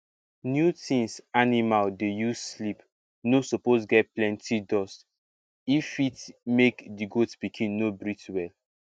new things animal dey use sleep no suppose get plenty dust if fit make di goat pikin no breathe well